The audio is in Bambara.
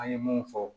An ye mun fɔ